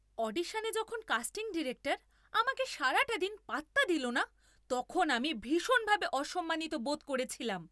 অডিশনে যখন casting director আমাকে সারাটা দিন পাত্তা দিলনা তখন আমি ভীষণভাবে অসম্মানিত বোধ করেছিলাম।